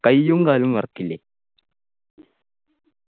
കയ്യും കാലുംവിറക്കില്ലേ